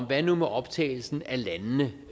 hvad nu med optagelsen af landene